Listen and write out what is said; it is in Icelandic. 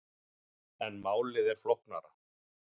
En málið er flóknara.